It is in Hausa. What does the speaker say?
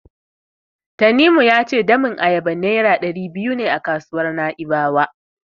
Tanimu ya ce nonon ayaba Naira ɗari biyu ne a kasuwar Na'ibawa.